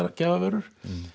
gjafavörur